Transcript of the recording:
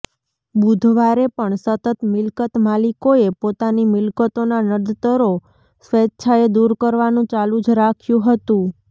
બુધવારે પણ સતત મિલકત માલીકોએ પોતાની મિલકતોના નડતરો સ્વેચ્છાએ દૂર કરવાનું ચાલુ જ રાખ્યું હતું